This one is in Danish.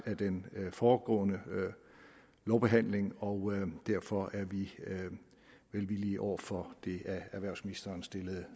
af den foregående lovbehandling og derfor er vi velvillige over for det af erhvervsministeren stillede